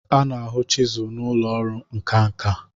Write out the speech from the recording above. a na-ahụ chisul n'ụlọ ọrụ nka nka